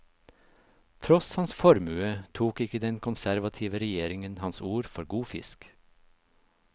Tross hans formue, tok ikke den konservative regjeringen hans ord for god fisk.